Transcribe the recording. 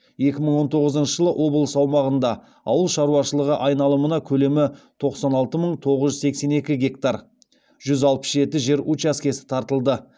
екі мың он тоғызыншы жылы облыс аумағында ауыл шаруашылығы айналымына көлемі тоқсан алты мың тоғыз жүз сексен екі гектар жүз алпыс жеті жер учаскесі тартылды